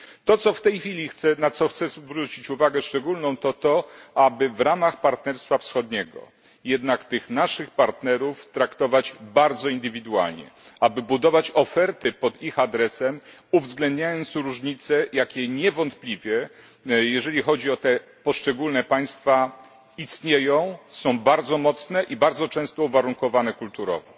To, na co chcę w tej chwili zwrócić uwagę szczególną to to, aby w ramach Partnerstwa Wschodniego jednak tych naszych partnerów traktować bardzo indywidualnie, aby budować oferty pod ich adresem, uwzględniając różnice, jakie niewątpliwie jeżeli chodzi o te poszczególne państwa istnieją, są bardzo mocne i bardzo często uwarunkowane kulturowo.